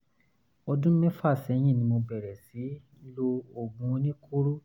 ọdún mẹ́fà sẹ́yìn ni mo ti bẹ̀rẹ̀ sí lo oògùn oníkóró l